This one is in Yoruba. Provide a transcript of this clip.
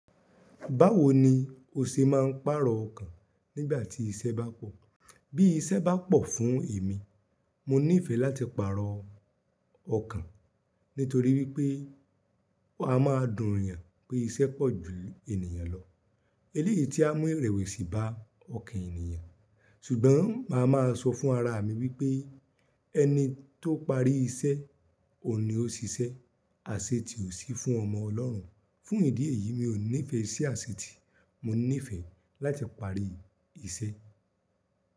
Báwo ni o ṣe máa ń pàrọ̀ ọkàn nígbà tí iṣẹ́ bá pọ̀? Bí iṣẹ́ bá pọ̀ fún èmi, mo nífẹ̀ẹ́ láti pàrọ̀ ọkàn nítorí wípé a máa dùn yàn pé iṣẹ́ pọ̀ ju ènìyàn lọ. Eléyìí tí a mú ìrẹ̀wẹ̀sì bá ọkàn ènìyàn, ṣùgbọ́n màá máa sọ fún ara mi wípé ẹni tó parí iṣẹ́ ò ní ó ṣiṣẹ́, àṣetì ò sí fún ọmọ ọlọ́run. Fún ìdí èyí mi ò nífẹ̀ẹ́ sí àṣetì, mo nífẹ̀ẹ́ láti parí iṣẹ́.